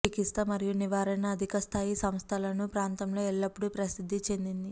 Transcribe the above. చికిత్సా మరియు నివారణ అధిక స్థాయి సంస్థలను ప్రాంతంలో ఎల్లప్పుడూ ప్రసిద్ధి చెందింది